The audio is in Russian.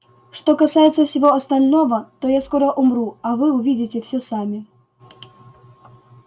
что касается всего остального то я скоро умру а вы увидите всё сами